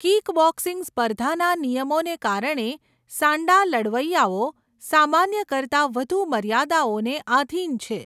Kickboxing સ્પર્ધાના નિયમોને કારણે, સાન્ડા લડવૈયાઓ સામાન્ય કરતાં વધુ મર્યાદાઓને આધિન છે.